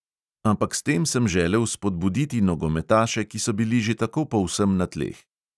Ampak s tem sem želel spodbuditi nogometaše, ki so bili že tako povsem na tleh.